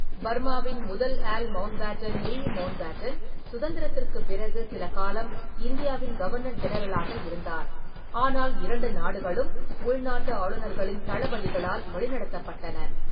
பர்மாவின் முதல் Earl Mountbatten Louis Mountbatten, சுதந்திரத்திற்குப் பிறகு சில காலம் இந்தியாவின் கவர்னர் ஜெனரலாக இருந்தார், ஆனால் இரண்டு நாடுகளும் உள்நாட்டு ஆளுநர்களின்-தளபதிகளால் வழிநடத்தப்பட்டன.